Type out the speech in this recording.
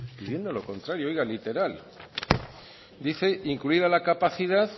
pidiendo lo contrario oiga literal dice incluida la capacidad